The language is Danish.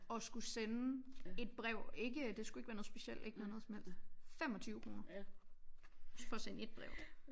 Og skulle sende et brev ikke det skulle ikke være noget specielt ikke være noget som helst 25 kroner for at sende ét brev